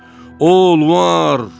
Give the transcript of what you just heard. O, möcüzədir!